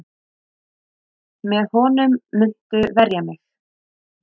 Með honum muntu verja mig.